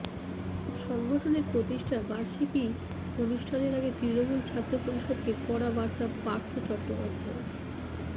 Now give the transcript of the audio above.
সংগঠনের প্রতিষ্ঠা বার্ষিকী অনুষ্ঠানের আগে তৃণমূল ছাত্র পরিষদকে কড়া বার্তা পার্থ চট্টোপাধ্যায়ের